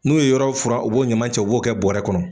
N'u ye yɔrɔ furan o b'o ɲama cɛ o b'o kɛ bɔrɛ kɔnɔ